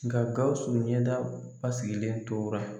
Nka Gawusu ɲɛda basigilen tora